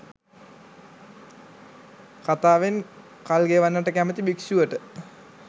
කතාවෙන් කල්ගෙවන්නට කැමති භික්ෂුවට